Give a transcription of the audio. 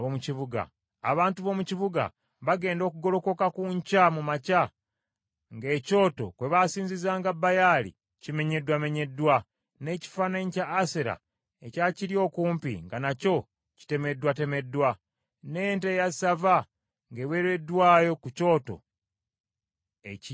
Abantu b’omu kibuga baagenda okugolokoka ku nkya mu makya, nga ekyoto kwe baasinzizanga Baali kimenyeddwamenyeddwa, n’ekifaananyi kya Asera ekyakiri okumpi nga nakyo kitemeddwatemeddwa, n’ente eya ssava ng’eweereddwayo ku kyoto ekiggya.